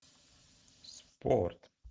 спорт